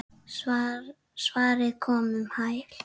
Svarið kom um hæl.